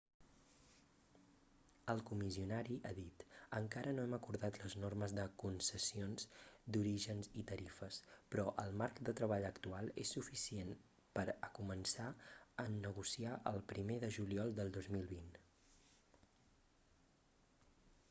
el comissionari ha dit: encara no hem acordat les normes de con[c]essions d'orígens i tarifes però el marc de treball actual és suficient per a començar a negociar el primer de juliol del 2020